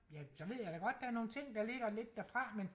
Ja så ved jeg da godt der er nogle ting der ligger lidt derfra men